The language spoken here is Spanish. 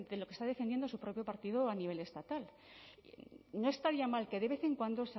lo que está defendiendo su propio partido a nivel estatal no estaría mal que de vez en cuando